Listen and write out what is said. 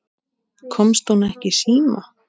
Komst hún ekki í síma?